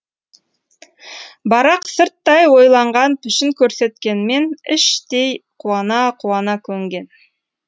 барақ сырттай ойланған пішін көрсеткенмен іштей қуана қуана көнген